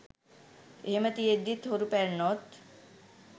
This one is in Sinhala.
එහෙම තියෙද්දිත් හොරු පැන්නොත්